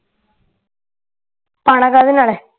ਪਾਣਾ ਕਾਹਦੇ ਨਾਲ ਆ